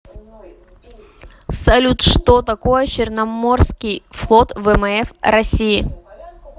салют что такое черноморский флот вмф россии